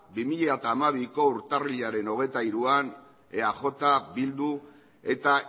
bi mila hamabiko urtarrilaren hogeita hiruan eaj bildu eta